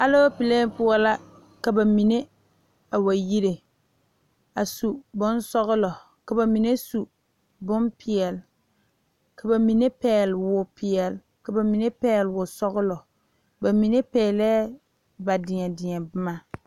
Alɔpele poɔ la ka bamine a wa yire a su bonsɔglɔ ka bamine su bonpeɛle ka bamine pegle wɔpeɛle ka bamine pegle wɔsɔglɔ bamine peglɛɛ ba deɛdeɛ boma.